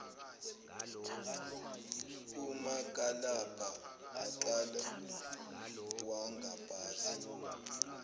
umakalabha aqala wangabaza